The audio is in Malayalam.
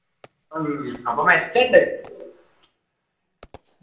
ഉം അപ്പൊ മെച്ചം ഉണ്ട്